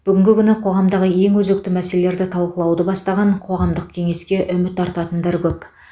бүгінгі күні қоғамдағы ең өзекті мәселелерді талқылауды бастаған қоғамдық кеңеске үміт артатындар көп